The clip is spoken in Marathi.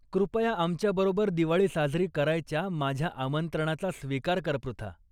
कृपया आमच्याबरोबर दिवाळी साजरी करायच्या माझ्या आमंत्रणाचा स्वीकार कर पृथा.